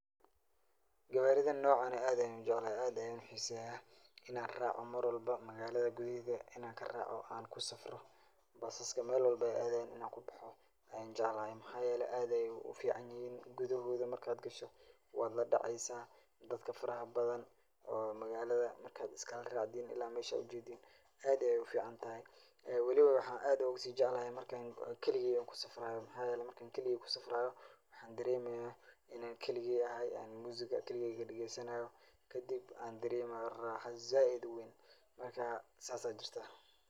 Gawaaridan noocan ah aad ayaan ujeclahay, aad ayaan uxiiseya, inaan raaco marwalbo magaalada gudaheeda inaan karaco oo kusafro, baasaska meel walbo aay aadayan inaan kubaxo ayaan jeclahay, waxaa yeele aad ayeey ufican yihiin, gudahooda markaad gasho, waad ladaceysa, dadka faraha badan oo magaalada markaad iskala raacdiin ila meesha aad ujeedin, aad ayeey ufican tahay, ee waliba waxaan aad ooga sii jeclahay marki aan kaligeyda kusafrayo, waxaa yeele marki aan kaligeyda kusafrayo waxaa dareemaya inaan kaligey ahay oo musiga kakigeey dageysanaayo, kadib aan dareemayo raaxo sait uweyn, marka saas ayaa jirtaa.